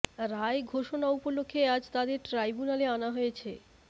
রায় ঘোষণা উপলক্ষে আজ তাদের ট্রাইব্যুনালে আনা হয়েছে